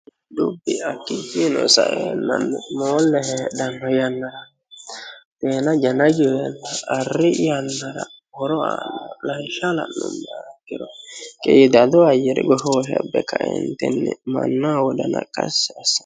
dubbu hakkichino sa"eennanni moolle hedhanno yannara xeena jana giweenna arri yannara horo aano lawishsha la'nummoha ikkiro qiidado ayere goshoohe abbe ka"eenittinni mannaho wodana kassi assa